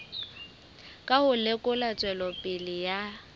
ka ho lekola tswelopele ya